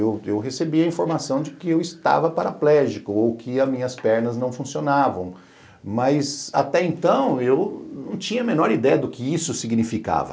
Eu eu recebi a informação de que eu estava paraplégico ou que as minhas pernas não funcionavam, mas até então eu não tinha a menor ideia do que isso significava.